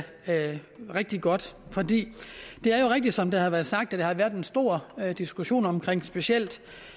rigtig godt for det er jo rigtigt som der har været sagt at der har været en stor diskussion om specielt